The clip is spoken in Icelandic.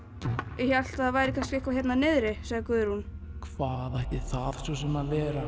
ég hélt það væri kannski einhver hérna niðri sagði Guðrún hvað ætti það svo sem að vera